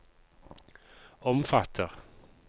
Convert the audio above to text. omfatter